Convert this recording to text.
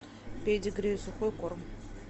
педигри сухой корм